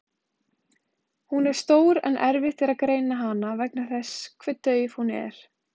Hún er stór en erfitt er að greina hana vegna þess hve dauf hún er.